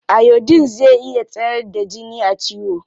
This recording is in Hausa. Iodine zai iya tsayar da jini a ciwo.